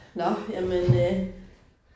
Nåh jamen øh